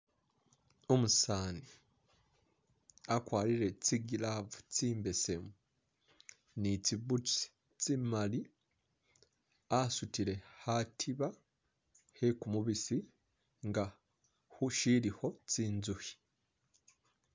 Umusaani akwarire tsi glove tsimbesemu ni tsi boots tsi'mali asutile khatiba khe kumubisi nga khu'shilikho tsinzukhi